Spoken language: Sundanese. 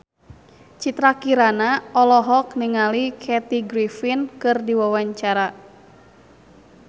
Citra Kirana olohok ningali Kathy Griffin keur diwawancara